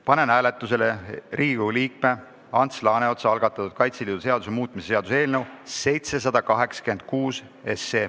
Panen hääletusele Riigikogu liikme Ants Laaneotsa algatatud Kaitseliidu seaduse muutmise seaduse eelnõu.